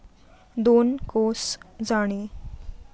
दोन कोस जाणे